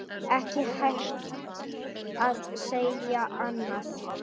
Ekki hægt að segja annað.